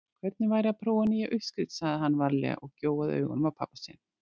Hvernig væri að prófa nýja uppskrift sagði hann varlega og gjóaði augunum á pabba sinn.